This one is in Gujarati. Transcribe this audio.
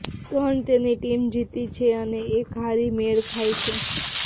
ત્રણ તેની ટીમ જીતી છે અને એક હારી મેળ ખાય છે